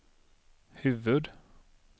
huvud-